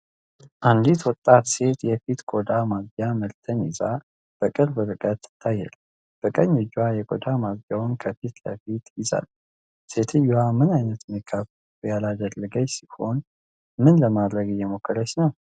አንዲት ወጣት ሴት የፊት ቆዳ ማጽጃ ምርትን ይዛ በቅርብ ርቀት ትታያለች። በቀኝ እጇ የቆዳ ማጽጃን ከፊት ለፊት ይዛለች። ሴትየዋ ምንም አይነት ሜካፕ ያላደረገች ሲሆን፣ ምን ለማድረግ እየሞከረች ነው?